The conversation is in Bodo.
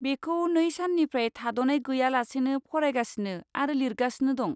बेखौ नै साननिफ्राय थाद'नाय गैयालासेनो फरायगासिनो आरो लिरगासिनो दं।